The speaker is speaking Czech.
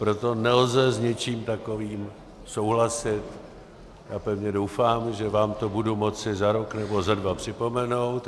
Proto nelze s něčím takovým souhlasit a pevně doufám, že vám to budu moci za rok nebo za dva připomenout.